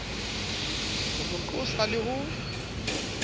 ho mo qosa le ho